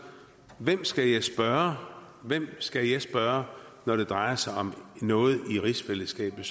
hvem skal jeg spørge hvem skal jeg spørge når det drejer sig om noget i rigsfællesskabet